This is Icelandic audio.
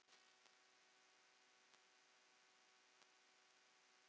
Engin tár sefa þá sorg.